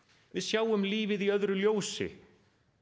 við sjáum lífið í öðru ljósi